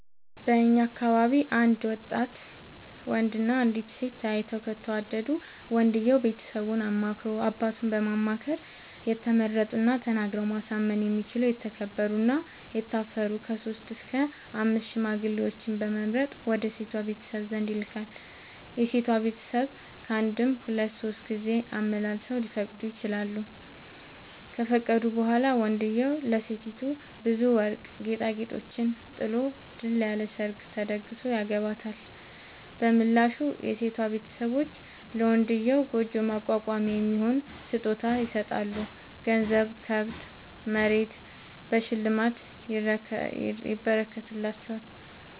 በእኛ አካባቢ አንድ ወጣት ወንድ እና አንዲት ሴት ተያይተው ከተወዳዱ ወንድየው ቤተሰቡን አማክሮ አባቱን በማማከር የተመረጡና ተናግረው ማሳመን የሚችሉ የተከበሩ እና የታፈሩ ከሶስት እስከ አምስት ሽማግሌዎችን በመምረጥ ወደ ሴቷ ቤተሰብ ዘንድ ይልካል። የሴቷ ቤተሰብ ካንድም ሁለት ሶስት ጊዜ አመላልሰው ሊፈቅዱ ይችላሉ። ከፈቀዱ በኋላ ወንድዬው ለሴቲቱ ብዙ ወርቅ ጌጣጌጦችን ጥሎ ድል ያለ ሰርግ ተደግሶ ያገባታል። በምላሹ የሴቷ ቤተሰቦች ለመንድዬው ጉጆ ማቋቋሚያ የሚሆን ስጦታ ይሰጣሉ ገንዘብ፣ ከብት፣ መሬት በሽልማት ይረከትላቸዋል።